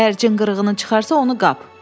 Əgər cin qırığını çıxarsa, onu qap.